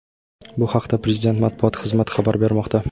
Bu haqda Prezident Matbuot xizmati xabar bermoqda .